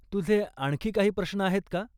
तुझे आणखी काही प्रश्न आहेत का?